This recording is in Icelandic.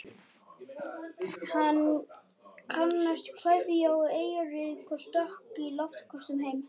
Hann kastaði kveðju á Eirík og stökk í loftköstum heim.